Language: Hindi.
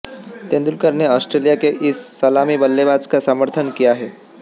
तेंदुलकर ने आस्ट्रेलिया के इस सलामी बल्लेबाज का समर्थन किया है